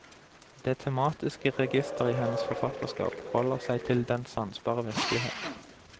Det tematiske register i hennes forfatterskap holder seg til den sansbare virkelighet.